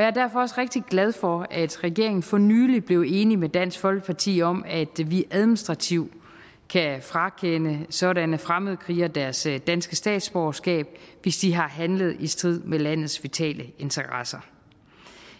jeg er derfor også rigtig glad for at regeringen for nylig blev enig med dansk folkeparti om at vi administrativt kan frakende sådanne fremmedkrigere deres danske statsborgerskab hvis de har handlet i strid med landets vitale interesser